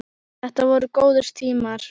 Þetta voru góðir tímar.